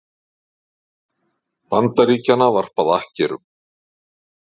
Bandaríkjanna varpað akkerum.